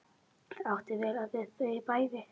Það átti vel við þau bæði.